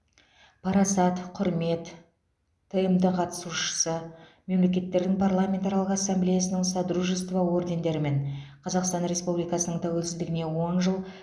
парасат құрмет тмд қатысушысы мемлекеттердің парламентаралық ассамблеясының содружество ордендерімен қазақстан республикасының тәуелсіздігіне он жыл